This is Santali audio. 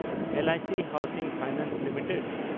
L I C housing finance limited